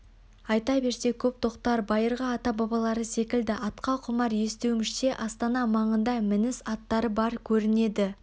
айта берсе көп тоқтар байырғы ата-бабалары секілді атқа құмар естуімізше астана маңында мініс аттары бар көрінеді